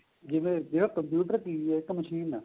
ਜਿਵੇਂ ਜਿਹੜਾ computer ਇੱਕ ਏਹ machine ਏ ਇੱਕ